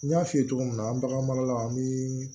N y'a f'i ye cogo min na an bagan marala an bɛ